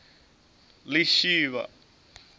lishivha